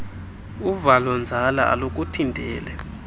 uvalo nzala alukuthinteli